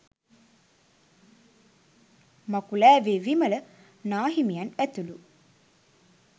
මකුලෑවේ විමල නාහිමියන් ඇතුළු